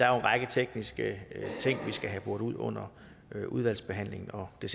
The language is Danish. er en række tekniske ting vi skal have boret ud under udvalgsbehandlingen og det